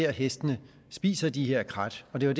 at hestene spiser de her krat det var